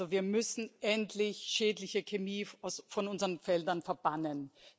Wir müssen endlich schädliche Chemie von unseren Feldern verbannen.